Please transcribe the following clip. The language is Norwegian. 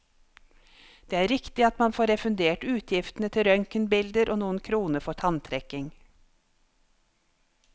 Det er riktig at man får refundert utgiftene til røntgenbilder og noen kroner for tanntrekking.